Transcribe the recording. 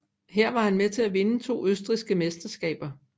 Her var han med til at vinde to østrigske mesterskaber